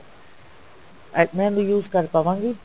ਅਹ ਮੈਂ ਉਹਨੂੰ use ਕਰ ਪਾਵਾਂਗੀ